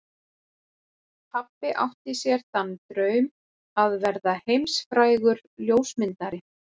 Pabbi átti sér þann draum að verða heimsfrægur ljósmyndari.